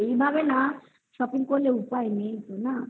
এইভাবে shopping না করলে উপায় নেই তো না